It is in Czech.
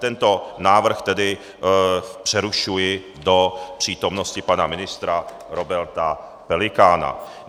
Tento návrh tedy přerušuji do přítomnosti pana ministra Roberta Pelikána.